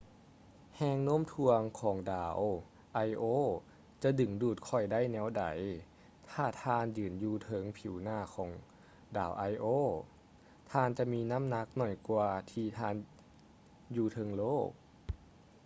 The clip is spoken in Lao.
ແຮງໂນ້ມຖ່ວງຂອງ ດາວໄອໂອ io ຈະດຶງດູດຂ້ອຍໄດ້ແນວໃດ? ຖ້າທ່ານຢືນຢູ່ເທິງຜິວໜ້າຂອງ ດາວໄອໂອ io ທ່ານຈະມີນ້ຳໜັກໜ້ອຍກວ່າທີ່ທ່ານຢູ່ເທິງໂລກ